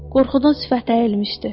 Qorxudan sifəti əyilmişdi.